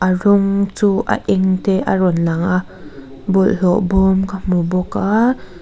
a rawng chu a eng te a rawn lang a bawlhhlawh bawm ka hmu bawk a.